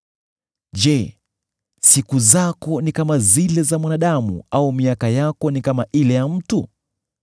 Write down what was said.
Je, siku zako ni kama zile za mwanadamu, au miaka yako ni kama ile ya mtu,